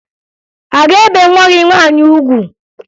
A ga-ebe nwa gị nwaanyị ugwu?